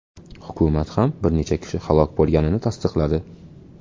Hukumat ham bir necha kishi halok bo‘lganini tasdiqladi.